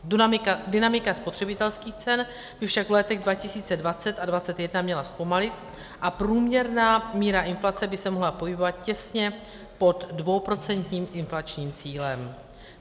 Dynamika spotřebitelských cen by však v letech 2020 a 2021 měla zpomalit a průměrná míra inflace by se mohla pohybovat těsně pod dvouprocentním inflačním cílem.